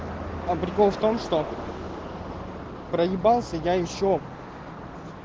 а прикол в том что проебался я ещё